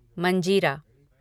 मंजीरा